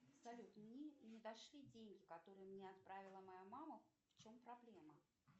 салют мне не дошли деньги которые мне отправила моя мама в чем проблема